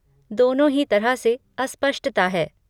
दोनों ही तरह से अस्पष्टता है।